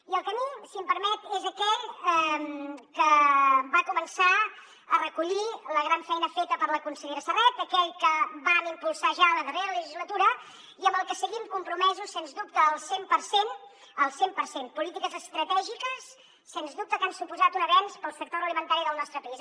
i el camí si m’ho permet és aquell que va començar a recollir la gran feina feta per la consellera serret aquell que vam impulsar ja la darrera legislatura i amb el que seguim compromesos sens dubte al cent per cent al cent per cent polítiques estratègiques sens dubte que han suposat un avenç per al sector agroalimentari del nostre país